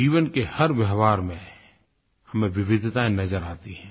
जीवन के हर व्यवहार में हमें विविधताएँ नजर आती हैं